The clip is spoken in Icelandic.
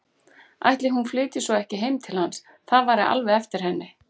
Ætli hún flytji svo ekki heim til hans, það væri alveg eftir henni.